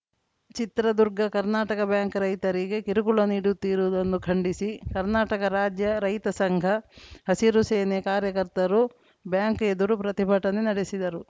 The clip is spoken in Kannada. ಚಿತ್ರದುರ್ಗ ಕರ್ನಾಟಕ ಬ್ಯಾಂಕ್‌ ರೈತರಿಗೆ ಕಿರುಕುಳ ನೀಡುತ್ತಿರುವುದನ್ನು ಖಂಡಿಸಿ ಕರ್ನಾಟಕ ರಾಜ್ಯ ರೈತ ಸಂಘ ಹಸಿರುಸೇನೆ ಕಾರ್ಯಕರ್ತರು ಬ್ಯಾಂಕ್‌ ಎದುರು ಪ್ರತಿಭಟನೆ ನಡೆಸಿದರು